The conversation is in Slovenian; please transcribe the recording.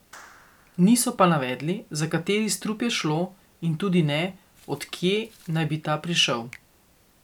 Niso pa navedli, za kateri strup je šlo in tudi ne, od kje naj bi ta prišel.